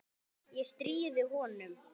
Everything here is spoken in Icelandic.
Ég stríði honum.